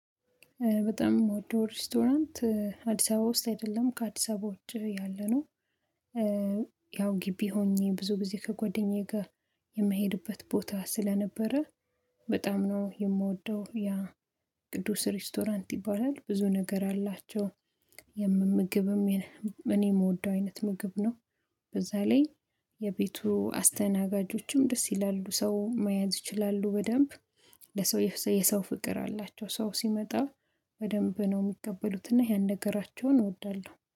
በጣም የምወደው ሬስቶራንት አዲስ አበባ ውስጥ አይደለም ከአዲስ አበባ ውጪ ያለነው። ያው ግቢ ሆኜ ብዙ ጊዜ ከጎደኛዬ ጋር የምሄድበት ቦታ ስለነበረ በጣም ነው የምወደው ያ ቅዱስ ሬስቶራንት ይባላል ብዙ ነገር አላቸው። የምምግብም እኔ የምወደው አይነት ምግብ ነው። በዛ ላይ የቤቱ አስተናጋጆችም ደስ ይላሉ ሰው መያዝ ይችላሉ በደንብ። ለሰው የሰው ፍቅር አላቸው ሰው ሲመጣ በደንብ ነው የሚቀበሉት እና ያን ነገራቸውን እወዳለሁ